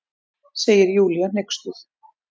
segir Júlía hneyksluð.